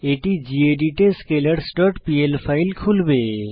এটি গেদিত এ scalarsপিএল ফাইল খুলবে